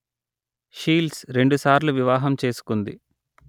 shields రెండుసార్లు వివాహం చేసుకుంది